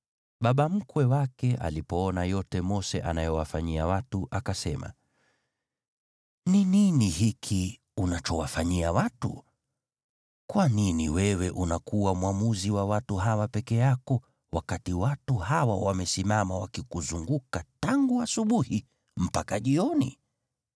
Baba mkwe wake alipoona yote Mose anayowafanyia watu, akasema, “Ni nini hiki unachowafanyia watu? Kwa nini wewe unakuwa mwamuzi wa watu hawa peke yako, wakati watu hawa wamesimama wakikuzunguka tangu asubuhi mpaka jioni?”